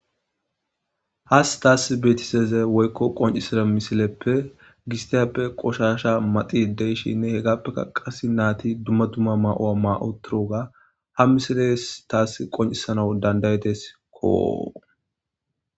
Has taas beetiseze woykko qoncisida misileppe gistiyappe qoshasha maxi deyshinne hegappeka qas naati dumma dumma ma7oa ma7o turoga ha misiles taass qoncisanau dandayetes koo